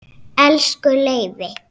Elsku Leifi.